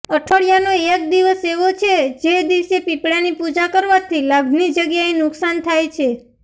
અઠવાડિયાનો એક દિવસ એવો છે જે દિવસે પીપળાની પૂજા કરવાથી લાભની જગ્યાએ નુકસાન થાય છે